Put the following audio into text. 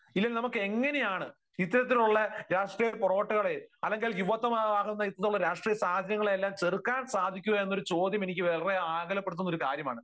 ഇല്ലെങ്കിൽ നമുക്ക് എങ്ങനെയാണ് ഇത്തരത്തിലുള്ള രാഷ്ട്രീയ പൊറോട്ടുകളെ അല്ലെങ്കിൽ യുവത്വമാർന്ന ഇത്തരം രാഷ്ട്രീയ സാഹചര്യങ്ങളെയെല്ലാം ചെറുക്കൻ സാധിക്കുക എന്ന ഒരു ചോദ്യം എനിക്ക് വളരെ ആകുലപ്പെടുത്തുന്ന ഒരു കാര്യമാണ്.